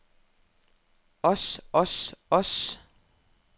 os os os